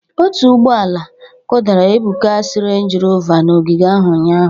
Otu ụgbọ ala kụdara Ebuka's Range Rover na ogige ahụ ụnyahụ